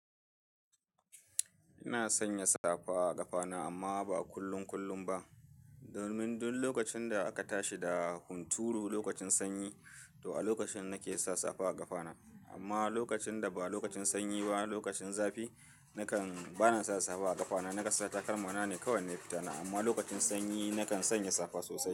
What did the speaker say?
Ina sanya safa a kafa na amma ba a kullum kullum ba. Domin duk lokacin da aka tashi da hunturu lokacin sanyi to a lokacin nake sa safa a kafa na amma lokacin da ba lokacin sanyi ba lokacin zafi nakan bana sa safa a kafa na nakan sa takalma na ne kowane fitana amma lokacin sanyi nakan sanya safa sosai.